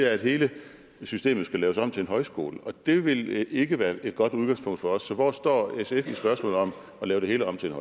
at hele systemet skal laves om til en højskole og det vil ikke være et godt udgangspunkt for os så hvor står sf at lave det hele om til